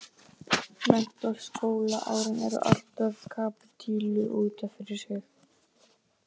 Menntaskólaárin eru alltaf kapítuli út af fyrir sig.